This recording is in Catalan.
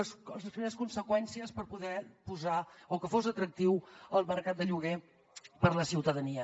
les primeres conseqüències per poder posar o que fos atractiu el mercat de lloguer per a la ciutadania